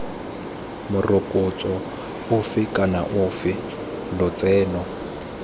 morokotso ofe kana ofe lotseno